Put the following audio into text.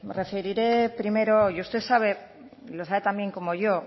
referiré primero y usted sabe lo sabe tan bien como yo